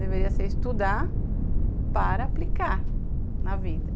Deveria ser estudar para aplicar na vida.